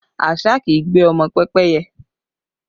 Àṣá kì í gbé ọmọ pẹ́pẹ́yẹ